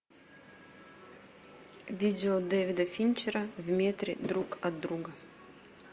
видео дэвида финчера в метре друг от друга